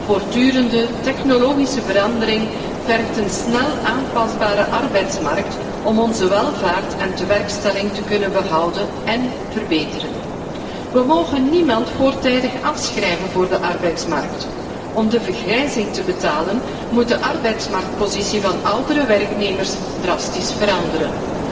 Voortdurende technologische verandering vergt een snel aanpasbare arbeidsmarkt om onze welvaart en werkgelegenheid te kunnen behouden en verbeteren. We mogen niemand voortijdig afschrijven voor de arbeidsmarkt. Om de vergrijzing te betalen, moet de arbeidsmarktpositie van oudere werknemers drastisch veranderen.